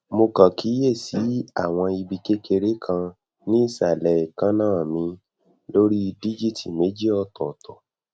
mo kàn kíyè sí àwọn ibi kékeré kan ní ìsàlẹ eekanna mi lori dijiiti méjì otooto